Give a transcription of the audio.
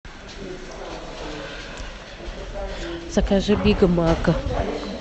закажи биг мак